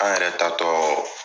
An yɛrɛ taatɔ